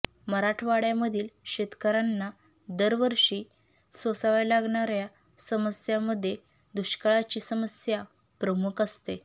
मराठवाड्यामधील शेतकऱ्यांना दरवर्षी सोसाव्या लागणाऱ्या समस्यांमध्ये दुष्काळाची समस्या प्रमुख असते